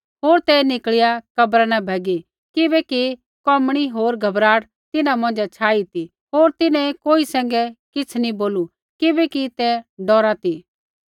होर तै निकल़िया कब्रा न भैगी किबैकि कोमणी होर घबराहट तिन्हां मौंझ़ै छाई ती होर तिन्हैं कोई सैंघै किछ़ नैंई बोलू किबैकि तै डौरा ती